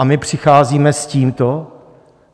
A my přicházíme s tímto?